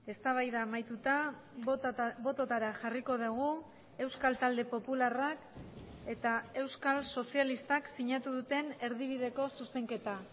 eztabaida amaituta bototara jarriko dugu euskal talde popularrak eta euskal sozialistak sinatu duten erdibideko zuzenketa